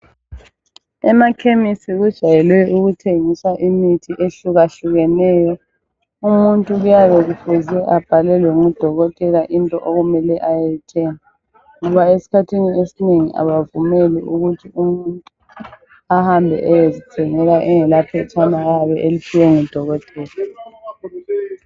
Emakhemesi kujwayele ukuthengiswa imithi ehluke hlukeneyo umuntu kuyabe kufuze abhalelwe ngudokotela into okumele ayeyithenga ngoba eskhathini esinengi abavumeli ukuthi umuntu ahambe eyezithengela engela phetshana oyabe eliphiwe ngudokotela